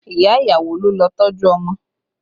Ìyá ìyàwó ló lọ tọ́jú ọmọ